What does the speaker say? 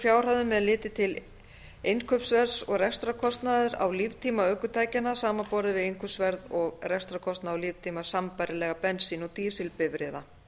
fjárhæðum er litið til innkaupsverðs og rekstrarkostnaðar á líftíma ökutækjanna samanborið við innkaupsverð og rekstrarkostnað á líftíma sambærilegra bensín og dísilbifreiða